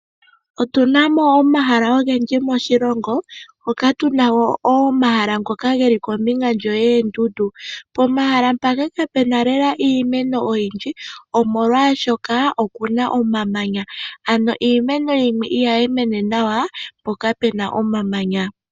Otu na mo omahala ogendji moshilongo moka tuna mo omahala ngoka geli kombinga yoondundu. Pomahala mpaka kapuna lela iimeno oyindji omolwashoka oku na omamanya ano iimeno yimwe ihayi mene nawa mpoka puna omamanya.